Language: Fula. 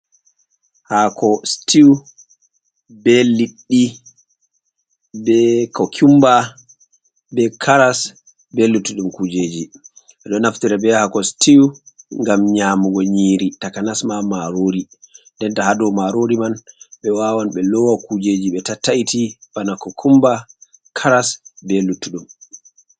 Haako stiw, be liɗɗi, be kokumba, be karas, be luttuɗum kujeji. Ɓeɗo naftira be haako stiw ngam nyamugo nyiri takanas ma marori ndenta ha dow marori man ɓe wawan ɓe lowa kujeji be tattaiti bana kokumba, karas, be luttuɗum.